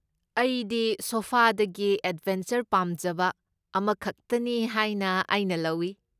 ꯑꯩꯗꯤ ꯁꯣꯐꯥꯗꯒꯤ ꯑꯦꯗꯕꯦꯟꯆꯔ ꯄꯥꯝꯖꯕ ꯑꯃꯈꯛꯇꯅꯤ ꯍꯥꯏꯅ ꯑꯩꯅ ꯂꯧꯏ!